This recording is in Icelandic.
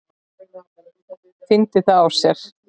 Fyndi það á sér.